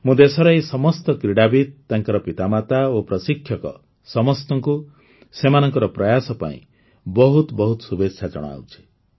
ମୁଁ ଦେଶର ଏହି ସମସ୍ତ କ୍ରୀଡ଼ାବିତ୍ ତାଙ୍କର ପିତାମାତା ଓ ପ୍ରଶିକ୍ଷକ ସମସ୍ତଙ୍କୁ ସେମାନଙ୍କର ପ୍ରୟାସ ପାଇଁ ବହୁତ ବହୁତ ଶୁଭେଚ୍ଛା ଜଣାଉଛି